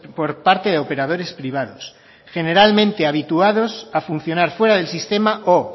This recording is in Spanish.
por parte de operadores privados generalmente habituados a funcionar fuera del sistema o